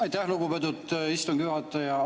Aitäh, lugupeetud istungi juhataja!